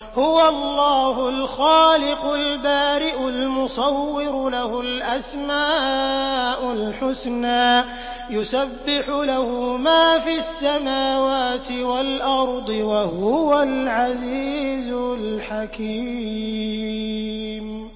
هُوَ اللَّهُ الْخَالِقُ الْبَارِئُ الْمُصَوِّرُ ۖ لَهُ الْأَسْمَاءُ الْحُسْنَىٰ ۚ يُسَبِّحُ لَهُ مَا فِي السَّمَاوَاتِ وَالْأَرْضِ ۖ وَهُوَ الْعَزِيزُ الْحَكِيمُ